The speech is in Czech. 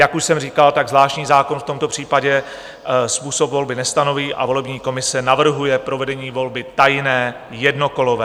Jak už jsem říkal, tak zvláštní zákon v tomto případě způsob volby nestanoví a volební komise navrhuje provedení volby tajné jednokolové.